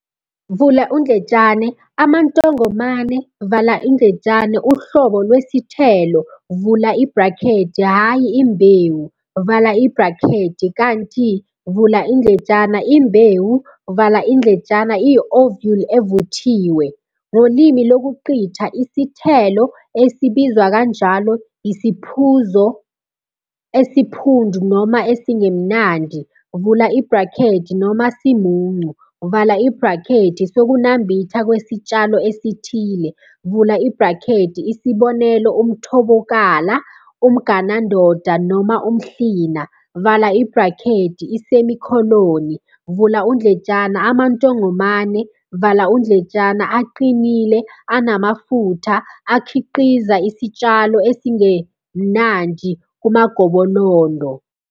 "Amantongomane" uhlobo lwesithelo, hhayi imbewu, kanti "imbewu" iyi- ovule evuthiwe. Ngolimi lokuqitha, isithelo, esibizwa kanjalo, yisiphuzo esiphundu noma esingemnandi, noma simuncu, sokunambitha kwesitshalo esithile, isb. umthobokala, umganandoda noma umhlina, "Amantongomane" aqinile, anamafutha, akhiqiza isitshalo esingelamnandi kumagobolondo.